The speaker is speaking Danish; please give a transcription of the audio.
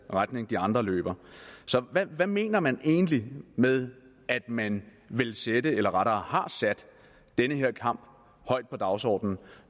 retning de andre løber så hvad hvad mener man egentlig med at man vil sætte eller rettere har sat den her kamp højt på dagsordenen